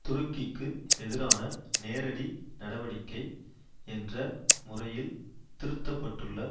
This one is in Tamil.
துருக்கிக்கு எதிரான நேரடி நடவடிக்கை என்ற முறையில் திருத்தப்பட்டுள்ள